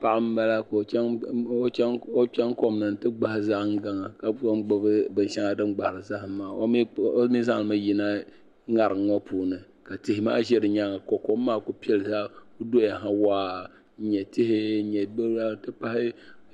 Paɣa n bala ka o chaŋ kom ni n ti gbahi zahim gaŋa ka tom gbubi binshɛŋa din gbahiri zahim maa omi zaŋli mi yina ŋarinŋɔ puuni. ka tihi maa zɛ di nyaaŋa ka kom maa ku doyaha waa n nyɛ tihi n nyɛ billa nti pahi.